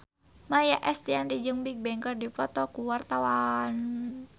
Maia Estianty jeung Bigbang keur dipoto ku wartawan